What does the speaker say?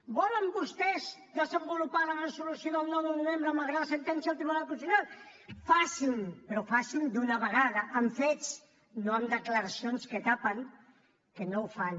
volen vostès desenvolupar la resolució del nou de novembre malgrat la sentència del tribunal constitucional facin ho però facin ho d’una vegada amb fets no amb declaracions que tapen que no ho fan